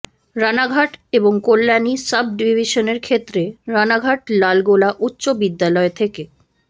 রানাঘাট এবং কল্যাণী সাব ডিভিশনের ক্ষেত্রে রানাঘাট লালগোলা উচ্চ বিদ্যালয় থেকে